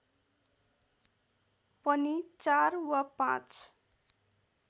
पनि ४ वा ५